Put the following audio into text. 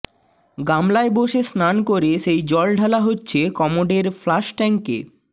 গামলায় বসে স্নান করে সেই জল ঢালা হচ্ছে কমোডের ফ্লাশট্যাঙ্কে